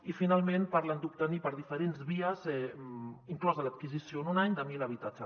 i finalment parlen d’obtenir per diferents vies inclosa l’adquisició en un any mil habitatges